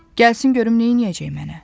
Gəlsin görüm neyləyəcək mənə.